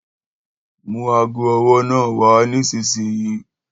Mú ago ọwọ́ náà wa nísinsìnyí